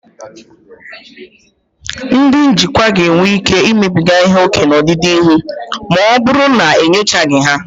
Ndị njikwa ga-enwe ike imebiga ihe ókè n'ọdịnihu ma ọ bụrụ na enyochaghị ya.